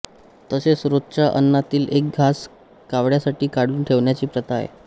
तसेच रोजच्या अन्नातील एक घास कावळ्यासाठी काढून ठेवण्याची प्रथा आहे